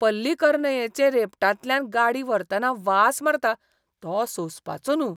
पल्लिकरनयचे रेबटांतल्यान गाडी व्हरतना वास मारता तो सोंसपाचो न्हूं.